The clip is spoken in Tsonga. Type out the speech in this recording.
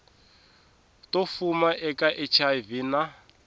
to fuma eka hiv na